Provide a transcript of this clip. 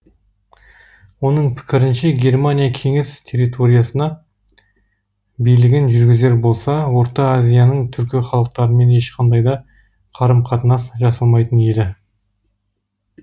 оның пікірінше германия кеңес территориясына билігін жүргізер болса орта азияның түркі халықтарымен ешқандай да қарым қатынас жасалмайтын еді